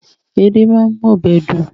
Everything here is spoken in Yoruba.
Edé máa ń mú ọbẹ̀ dùn